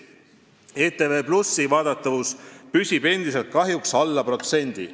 ETV+ vaadatavus on kahjuks endiselt alla protsendi.